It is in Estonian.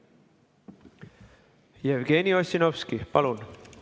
Jevgeni Ossinovski, palun!